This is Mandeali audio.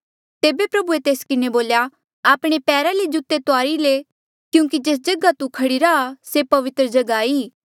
तेबे प्रभुए तेस किन्हें बोल्या आपणे पैरा ले जूते तुआरी ले क्यूंकि जेस जगहा तू खड़ीरा आ से पवित्र जगहा ई